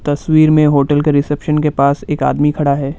तस्वीर में होटल के रिसेप्शन के पास एक आदमी खड़ा है।